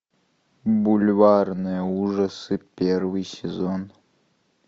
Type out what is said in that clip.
бульварные ужасы первый сезон